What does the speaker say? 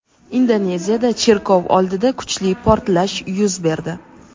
Indoneziyada cherkov oldida kuchli portlash yuz berdi.